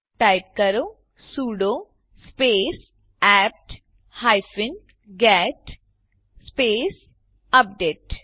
type કરો sudo space APT hyphen get space update